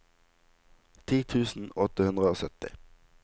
ti tusen åtte hundre og sytti